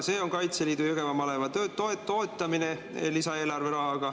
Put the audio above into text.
See on Kaitseliidu Jõgeva maleva töö toetamine rahaga lisaeelarvest.